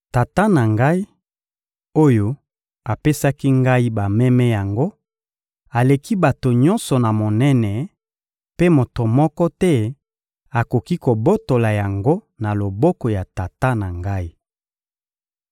Tata na Ngai, oyo apesaki Ngai bameme yango, aleki bato nyonso na monene, mpe moto moko te akoki kobotola yango na loboko ya Tata na Ngai.